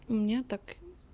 у меня так